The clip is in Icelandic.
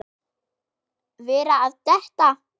Vera að detta.